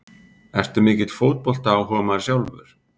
Ertu mikill fótboltaáhugamaður sjálfur?